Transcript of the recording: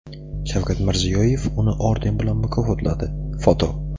Shavkat Mirziyoyev uni orden bilan mukofotladi (foto).